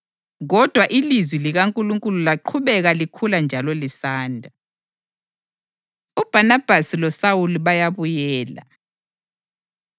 Kodwa ilizwi likaNkulunkulu laqhubeka likhula njalo lisanda. UBhanabhasi loSawuli Bayabuyela